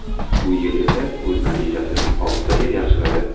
Bu yil esa o‘z natijasini oltitaga yaxshiladi.